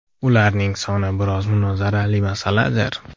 Ularning soni biroz munozarali masaladir.